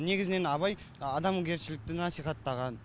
негізінен абай адамгершілікті насихаттаған